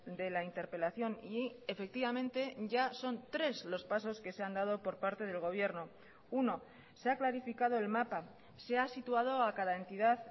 de la interpelación y efectivamente ya son tres los pasos que se han dado por parte del gobierno uno se ha clarificado el mapa se ha situado a cada entidad